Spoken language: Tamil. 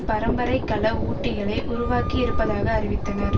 பரம்பரை கல ஊட்டிகளை உருவாக்கி இருப்பதாக அறிவித்தனர்